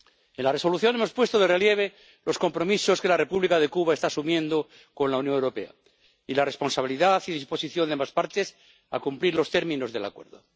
En la Resolución hemos puesto de relieve los compromisos que la República de Cuba está asumiendo con la Unión Europea y la responsabilidad y disposición de ambas partes a cumplir los términos del Acuerdo.